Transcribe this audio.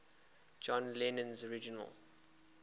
john lennon's original